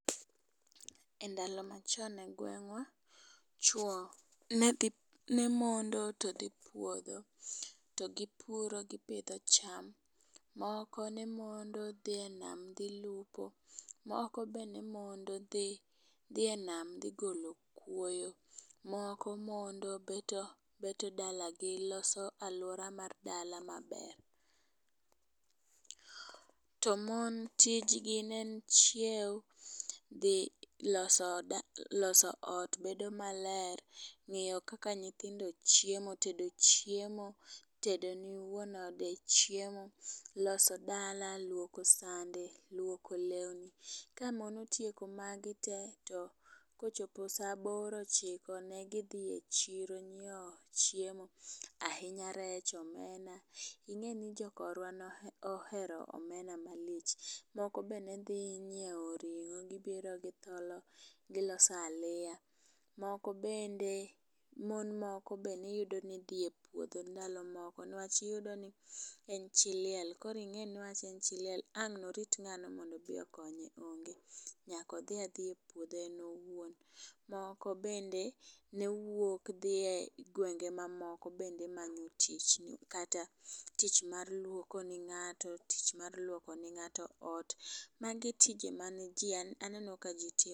E ndalo machon e gweng'wa, chwo ne dhi ne mondo to dhi puodho to gi puro gipidho cham. Moko ne mondo dhi e nam dhi lupo, moko be ne mondo dhi e nam dhi golo kuoyo, moko mondo beto beto dala gi loso aluora mar dala maber. To mon tijni ne en chiewo, dhi loso da loso ot bedo maler, ng'iyo kaka nyithindo chiemo, tedo ne wuon ode chiemo , loso dala, luoko sande, luoko lewni. Ka mon otieko magi te to kochopo saa aboro ochiko ne gidhi e chiro ng'iewo chiemo ahinya rech, omena. Ing'eni jokorwa nohero omena malich. Moko be nedhi nyiewo ring'o gibiro githolo giloso aliya moko bende. Mon moko be ne dhi e puodho ndalo moko newach iyudo ni en chi liel koro ing'eni newach en chi liel koro wang' norit ng'ano mondo odhi okonye onge ,nyako dhia dhiya e puodho en owuon. Moko bende ne wuok dhi e gwenge mamoko bende manyo tich kata tich luoko ne ng'ato ,tich mar luoko ne ng'ato ot magi tije mane jii aneno ka jii timo